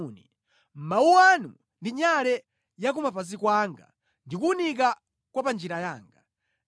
Mawu anu ndi nyale ya kumapazi kwanga ndi kuwunika kwa pa njira yanga.